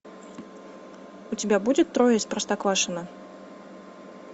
у тебя будет трое из простоквашино